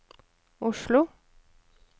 Oslo